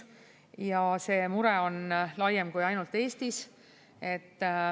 Ja see mure on laiem kui ainult Eestis.